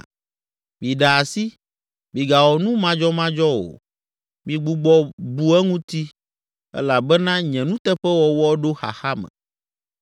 Miɖe asi, migawɔ nu madzɔmadzɔ o migbugbɔ bu eŋuti elabena nye nuteƒewɔwɔ ɖo xaxa me.